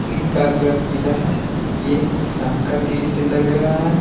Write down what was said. इन का कलर पीला है ये एक शाम का दृश्य लग रहा है।